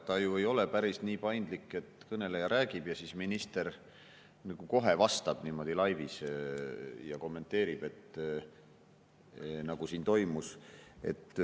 Ta ju ei ole päris nii paindlik, et kõneleja räägib ja siis minister kohe vastab laivis ja kommenteerib, nagu siin toimus.